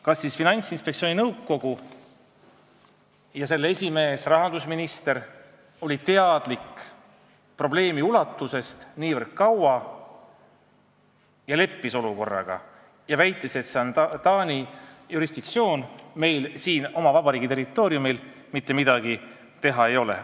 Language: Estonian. Kas Finantsinspektsiooni nõukogu ja selle esimees rahandusminister olid probleemi ulatusest nii kaua teadlikud ja leppisid olukorraga, väites, et tegu on Taani jurisdiktsiooniga, meil pole siin oma vabariigi territooriumil mitte midagi teha?